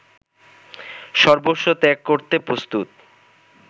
সর্বস্ব ত্যাগ করতে প্রস্তুত